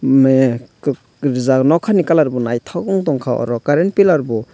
me rwjak nokhani colour bo naithok ung tongkha current pillar bo.